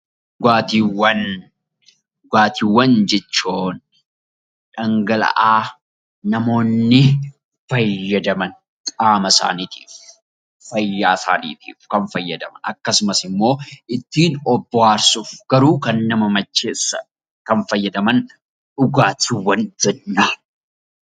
Dhugaatiiwwan Dhugaatiiwwan jechuun dhangala'aa namoonni fayyadaman qaama isaaniitiifis, fayyaa isaaniitiifis kan fayyadan akkasumas immoo ittiin of bohaarsuuf garuu kan nama macheessan kan fayyadaman dhugaatiiwwan jennaan.